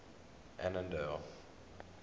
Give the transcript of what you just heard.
annandale